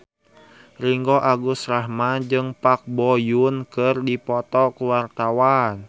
Ringgo Agus Rahman jeung Park Bo Yung keur dipoto ku wartawan